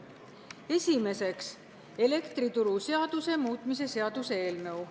Esimeseks, elektrituru seaduse muutmise seaduse eelnõu.